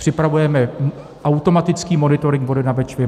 Připravujeme automatický monitoring vody na Bečvě.